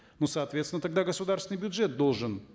ну соответственно тогда государственный бюджет должен